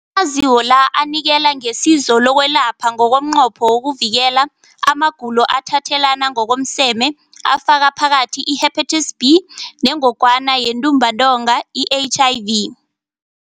Amaziko la anikela ngesizo lokwelapha ngomnqopho wokuvikela amagulo athathelana ngokomseme afaka phakathi i-Hepatitis B neNgogwana yeNtumbantonga, i-HIV.